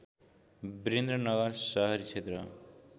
विरन्द्रनगर सहरी क्षेत्र